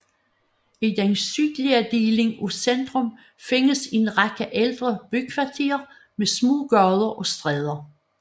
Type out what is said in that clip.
I den sydlige del af centrum findes en række ældre bykvarterer med små gader og stræder